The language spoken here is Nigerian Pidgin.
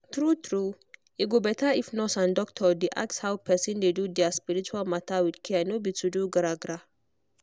true true e go better if nurse and doctor dey ask how person dey do their spiritual matter with care no be to do gra-gra.